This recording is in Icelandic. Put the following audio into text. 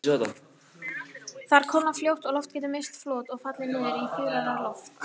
Þar kólnar fljótt og loft getur misst flot og fallið niður í þurrara loft.